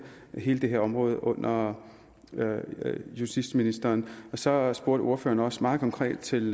hele det her område under justitsministeren så spurgte ordføreren også meget konkret ind til